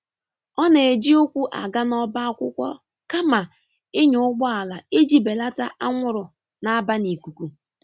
ọ na eji ukwu aga na oba akwụkwo kama ịnya ụgbọala iji belata anwụrụ na-aba n'ikụkụ.